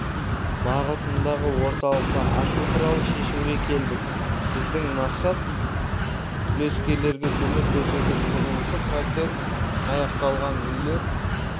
бағытындағы орталықты ашу туралы шешімге келдік біздің мақсат үлескерлерге көмек көрсету құрылысы процент аяқталған үйлер